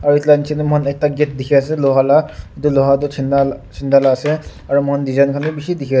aru edu la nichae tae mohan ekta gate dikhiase luha la edu luha tu chinda chinda la ase aro mohan design bi bishi dikhiase.